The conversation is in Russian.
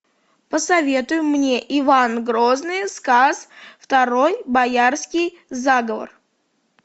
посоветуй мне иван грозный сказ второй боярский заговор